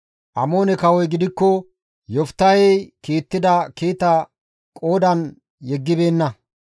Amoone kawoy gidikko Yoftahey kiittida kiita qoodan yeggibeenna.